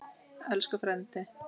Elsku frændi.